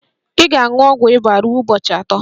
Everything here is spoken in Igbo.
Ị ga-aṅụ ọgwụ ịba ruo ụbọchị atọ